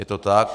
Je to tak.